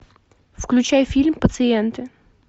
включай фильм пациенты